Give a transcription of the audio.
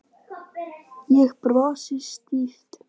Ég brosi stíft.